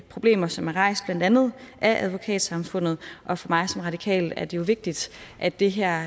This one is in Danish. problemer som er rejst blandt andet af advokatsamfundet og for mig som radikal er det jo vigtigt at det her